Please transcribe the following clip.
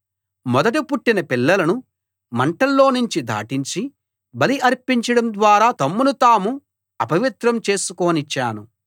మొదట పుట్టిన పిల్లలను మంటల్లోనుంచి దాటించి బలి అర్పించడం ద్వారా తమ్మును తాము అపవిత్రం చేసుకోనిచ్చాను